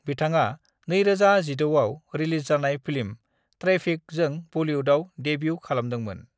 बिथाङा 2016 आव रिलिज जानाय फिल्म 'ट्रैफिक' जों बलिउदाव देब्यु खालामदोंमोन।